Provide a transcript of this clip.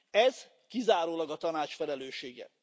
Ez kizárólag a Tanács felelőssége.